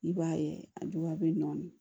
I b'a ye a dɔgɔya bɛ nɔɔni